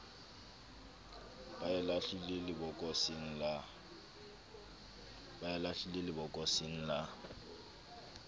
ba e lahlele lebokoseng la